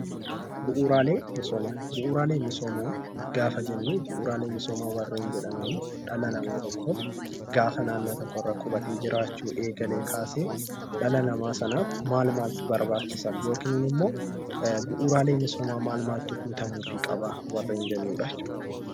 Bu'uuraalee misoomaa gaafa jennu bu'uuraalee misoomaa kanneen jedhaman dhala namaa tokko gaafa naannoo tokkorraa qubatee jiraachuu eegalee kaasee dhala namaa sanaaf maal maaltu barbaachisaa?!